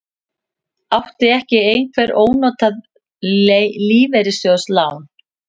Átti ekki einhver ónotað lífeyrissjóðslán?